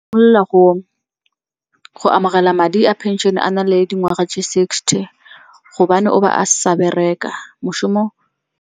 Simolola go amogela madi a phenšene a na le dingwaga tse sixty gobane o ba a sa bereka moshomo.